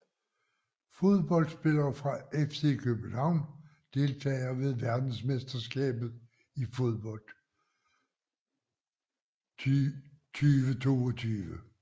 Fodboldspillere fra FC København Deltagere ved verdensmesterskabet i fodbold 2022